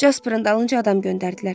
Jasperin dalınca adam göndərdilər.